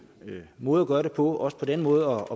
måde at gøre det på og også på den måde